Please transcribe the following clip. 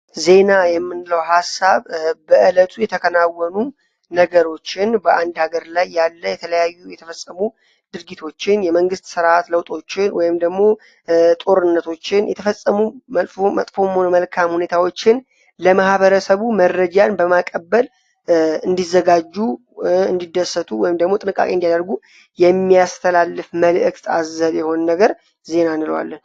ዜና የምንለው ሐሳብ በዕለቱ የተከናወኑ ነገሮችን በአንድ ሀገር ላይ ያለ የተለያዩ የተፈጸሙ ድርጊቶችን የመንግሥት ሥርዓት ለውጦችን ወይ ደግሞ ጦርነቶችን የተፈጸሙ መጥፎሞን መልካም ሁኔታዎችን ለመህበረሰቡ መረጃን በማቀበል እንዲዘጋጁ እንዲደሰቱ ወይም ደግሞ ጥንቃቄ እንዲያደርጉ የሚያስተላልፍ መልእክት አዘብ የሆን ነገር ዜና እንለዋለን።